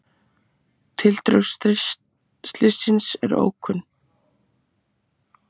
Tildrög slyssins eru ókunn